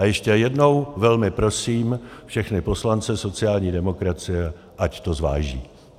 A ještě jednou velmi prosím všechny poslance sociální demokracie, ať to zváží.